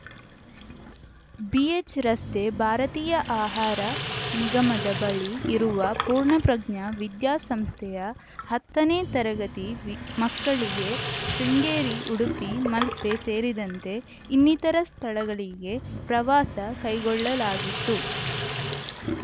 BH ರಸ್ತೆ ಭಾರತೀಯ ಆಹಾರ ನಿಗಮದ ಬಳಿ ಇರುವ ಪೂರ್ಣಪ್ರಜ್ಞ ವಿದ್ಯಾಸಂಸ್ಥೆಯ ಹತ್ತನೇ ತರಗತಿ ವಿ ಮಕ್ಕಳಿಗೆ ಶೃಂಗೇರಿ ಉಡುಪಿ ಮಲ್ಪೆ ಸೇರಿದಂತೆ ಇನ್ನಿತರ ಸ್ಥಳಗಳಿಗೆ ಪ್ರವಾಸ ಕೈಗೊಳ್ಳಲಾಗಿತ್ತು